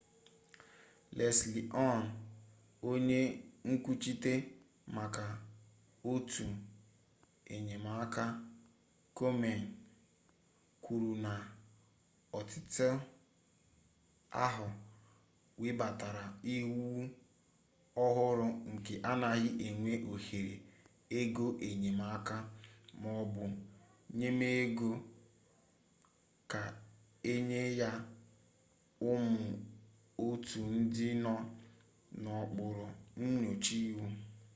leslie aun onye nkwuchite maka otu enyemaka komen kwuru na otu ahụ webatara iwu ọhụrụ nke anaghị enye ohere ego enyemaka ma ọ bụ nnyemego ka enye ya ụmụ otu ndị nọ n'okpuru nnyocha iwu